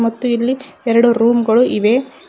ಮತ್ತು ಇಲ್ಲಿ ಎರಡು ರೂಮ್ ಗಳು ಇವೆ.